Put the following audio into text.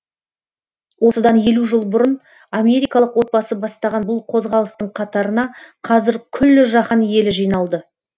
осыдан елу жыл бұрын америкалық отбасы бастаған бұл қозғалыстың қатарына қазір күллі жаһан елі жиналды